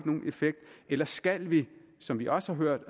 nogen effekt eller skal vi som vi også har hørt